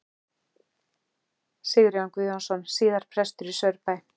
Sigurjón Guðjónsson, síðar prestur í Saurbæ.